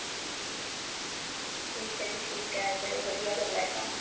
ਠੀਕ ਹੈ ਜੀ ਠੀਕ ਹੈ ਚਲੋ ਵਧੀਆ ਗੱਲ ਹੈ